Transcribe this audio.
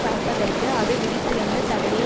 பறப்பதற்கு அது விதித்திருந்த தடையை